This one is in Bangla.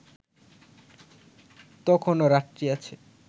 তখনও রাত্রি আছে